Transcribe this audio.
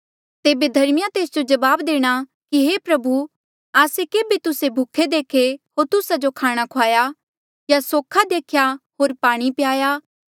तेबे धर्मिया तेस जो जवाब देणा कि हे प्रभु आस्से केभे तुस्से भूखे देखे होर तुस्सा जो खाणा खुआया या सोख्हा देख्या होर पाणी प्याया